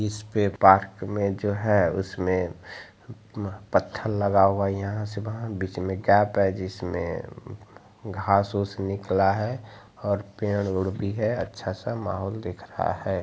इसपे पार्क मे जो है उसमे पत्थर लगा हुआ है यहाँ से वाहा बीच मे गैफ है जिसमे घास-वस निकला है और पेड़-वुड भी है अच्छा सा महोल दिख रहा है।